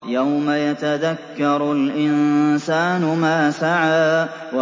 يَوْمَ يَتَذَكَّرُ الْإِنسَانُ مَا سَعَىٰ